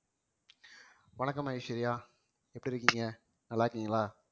வணக்கம் ஐஸ்வர்யா எப்படி இருக்கீங்க நல்லா இருக்கீங்களா